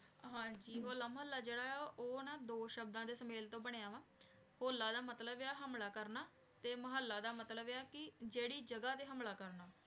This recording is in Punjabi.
ਹੋਲਾ ਮਹਲਾ ਜੇਰਾ ਆਯ ਆ ਨਾ ਊ ਦੋ ਸ਼ਬਦਾਂ ਦੇ ਸਮੇਲ ਤੋਂ ਬਨਯ ਆਯ ਆ ਹੋਲਾ ਦਾ ਮਤਲਬ ਆਯ ਆ ਹਮਲਾ ਕਰਨਾ ਤੇ ਮੁਹਲਾ ਦਾ ਮਤਲਬ ਆਯ ਆ ਕੀ ਜੇਰੀ ਜਗਾ ਤੇ ਹਮਲਾ ਕਰਨਾ